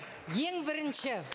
ең бірінші